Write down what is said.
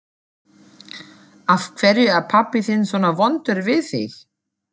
Af hverju er pabbi þinn svona vondur við þig?